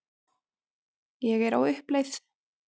Ég er á uppleið.